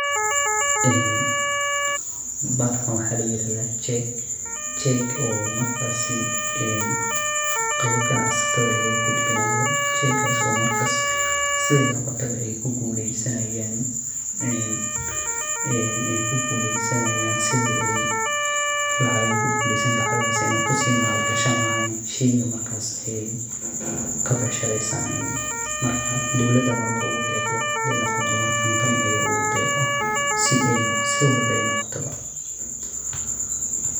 Bahalkan waxa layirahda jek kaso logudbinayo ganacsatada sidey noqotobo kuguleysanayan lacagaha sii mal gashani lahayen shey markas eey kabecshareysanayan marmar dowlada ogudeqdo marna kambaniyo.